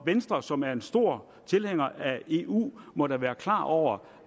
venstre som er en stor tilhænger af eu må da være klar over